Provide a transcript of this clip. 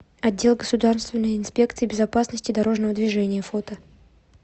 отдел государственной инспекции безопасности дорожного движения фото